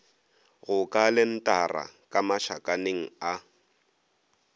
go kalentara ka mašakaneng a